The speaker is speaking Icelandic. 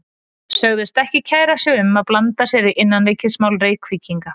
Sögðust ekki kæra sig um að blanda sér í innanríkismál Reykvíkinga.